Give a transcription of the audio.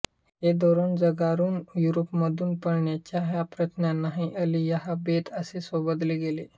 हे धोरण झुगारून युरोपमधून पळण्याच्या ह्या प्रयत्नांना अलियाह बेथ असे संबोधले गेले